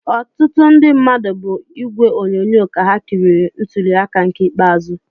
Ọtụtụ ndị mmadụ bụ n'ìgwè onyonyo ka ha kiriri ntuli aka nke ikpeazụ